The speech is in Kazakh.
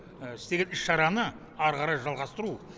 істеген іс шараны әрі қарай жалғастыру